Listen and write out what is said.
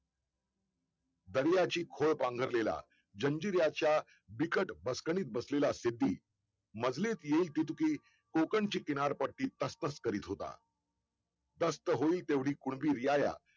दरियाची घोळ पांघरलेल्या जजिराच्या बिकट अडचणीत बसलेला शेती मधले कोकणची किनारपट्टी तस्तत करीत होता तस्तत होईल तेव्हडी पूर्वी रियाया